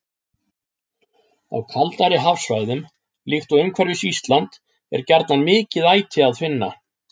Á kaldari hafsvæðum, líkt og umhverfis Ísland, er gjarnan mikið æti að finna.